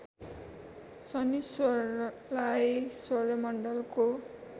शनिश्चरलाई सौर्यमण्डलको